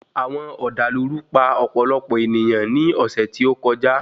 Àwọn ọ̀dàlúrú pa ọ̀pọ̀lọpọ̀ èniyàn ní ọ̀sẹ̀ tí ó kọjá.